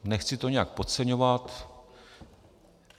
- Nechci to nějak podceňovat.